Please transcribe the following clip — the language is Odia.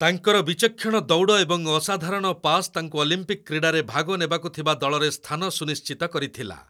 ତାଙ୍କର ବିଚକ୍ଷଣ ଦୌଡ଼ ଏବଂ ଅସାଧାରଣ ପାସ ତାଙ୍କୁ ଅଲିମ୍ପିକ୍ କ୍ରୀଡ଼ାରେ ଭାଗ ନେବାକୁ ଥିବା ଦଳରେ ସ୍ଥାନ ସୁନିଶ୍ଚିତ କରିଥିଲା।